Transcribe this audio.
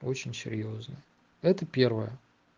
очень серьёзно это первое